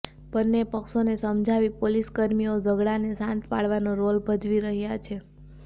બંને પક્ષોને સમજાવી પોલીસ કર્મીઓ ઝઘડાને શાંત પાડવાનો રોલ ભજવી રહ્યા છે